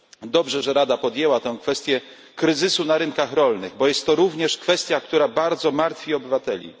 Dobrze, że Rada podjęła tę kwestię kryzysu na rynkach rolnych, bo jest to również kwestia, która bardzo martwi obywateli.